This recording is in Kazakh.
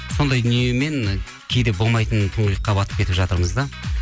сондай дүниемен кейде болмайтын тұңғиыққа батып кетіп жатырмыз да